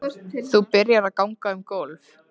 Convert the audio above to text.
Þú byrjar að ganga um gólf.